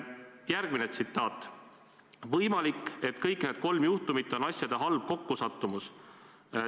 " Järgmine tsitaat: "Võimalik, et kõik need kolm juhtumit on asjade halb kokkusattumus.